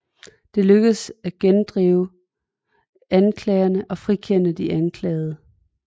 De lykkedes at gendrive anklagerne og frikende de anklagede